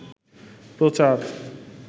প্রচার